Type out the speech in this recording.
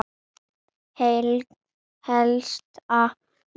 hiksta ég.